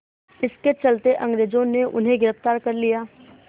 इसके चलते अंग्रेज़ों ने उन्हें गिरफ़्तार कर लिया